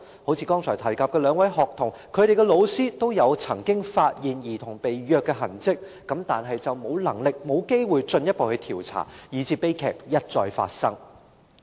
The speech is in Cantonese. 正如剛才提及的兩名學童，她們的老師均曾發現她們被虐的痕跡，但沒有能力亦沒有機會進一步調查，以致悲劇一再發生。